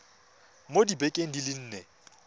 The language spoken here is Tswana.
mo dibekeng di le nne